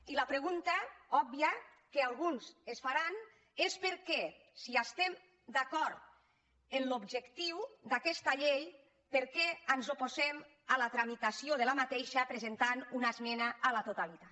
i la pregunta òbvia que alguns es faran és per què si estem d’acord amb l’objectiu d’aquesta llei ens oposem a la tramitació d’aquesta presentant una esmena a la totalitat